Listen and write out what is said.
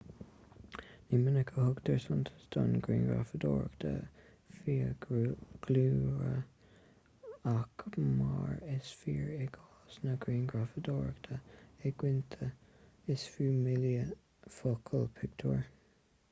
ní minic a thugtar suntas don ghrianghrafadóireacht fiadhúlra ach mar is fíor i gcás na grianghrafadóireachta i gcoitinne is fiú míle focal pictiúr